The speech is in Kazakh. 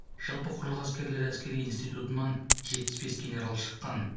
жалпы құрлық әскерлері әскери институтынан жетпіс бес генерал шыққан